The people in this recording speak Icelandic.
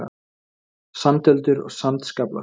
Sandöldur og sandskaflar.